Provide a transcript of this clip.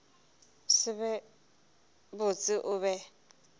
se be botse o be